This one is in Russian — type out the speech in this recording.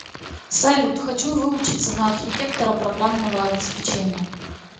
салют хочу выучиться на архитектора программного обеспечения